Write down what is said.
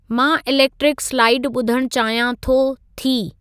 मां electric slide ॿुधणु चाहियां थो/थी